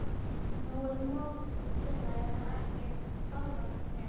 Nú er mokfiskur og félagið á ekki hálfan hnefa.